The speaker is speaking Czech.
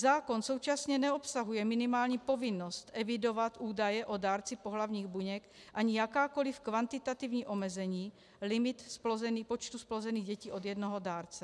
Zákon současně neobsahuje minimální povinnost evidovat údaje o dárci pohlavních buněk ani jakákoliv kvantitativní omezení, limit počtu zplozených dětí od jednoho dárce.